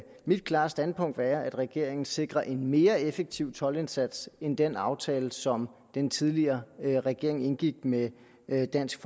mit klare standpunkt være at regeringen sikrer en mere effektiv toldindsats end ved den aftale som den tidligere regering indgik med med dansk